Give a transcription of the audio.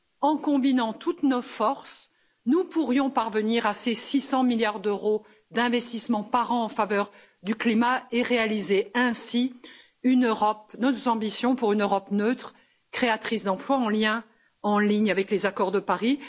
En combinant toutes nos forces, nous pourrions parvenir à ces 600 milliards d'euros d'investissements par an en faveur du climat et réaliser ainsi nos ambitions pour une Europe neutre, créatrice d'emplois, en ligne avec les accords de Paris.